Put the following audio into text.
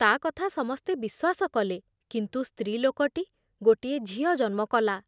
ତା କଥା ସମସ୍ତେ ବିଶ୍ବାସ କଲେ କିନ୍ତୁ ସ୍ତ୍ରୀ ଲୋକଟି ଗୋଟିଏ ଝିଅ ଜନ୍ମ କଲା ।